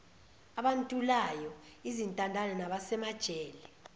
abantulayo izintandane nabasemajele